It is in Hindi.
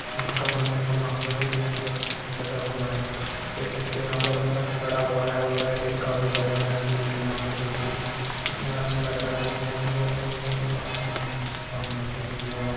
फूल का मंदिर बना हुआ है जो बहुत अच्छे से सजा हुआ है देख सकते है यहाँ पर एक शक्श खड़ा हुआ है और लाइटिंग काफी बढ़िया रखी हुई है की यहाँ पर देखिए कितना अच्छा लग रहा है देखने में बहुत सुन्दर काफी अमेजिंग चीजे सामने देखी यहाँ पर--